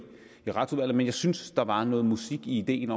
i retsudvalget men jeg synes at der var noget musik i ideen